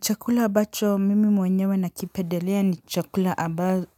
Chakula abacho mimi mwenyewe nakipendelea ni chakula